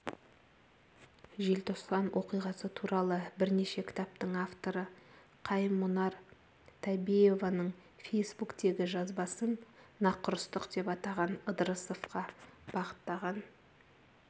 желтоқсан оқиғасы туралы бірнеше кітаптың авторы қайым-мұнар табеевоның фейсбуктегі жазбасын нақұрыстық деп атаған ыдырысовқа бағыттаған